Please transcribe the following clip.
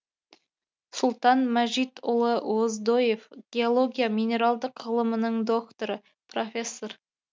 сұлтан мәжитұлы оздоев геология минералдық ғылымының докторы профессор